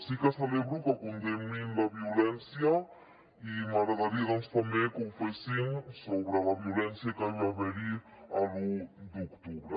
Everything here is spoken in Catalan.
sí que celebro que condemnin la violència i m’agradaria també que ho fessin sobre la violència que hi va haver l’u d’octubre